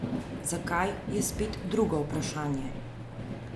Zakaj, je spet drugo vprašanje.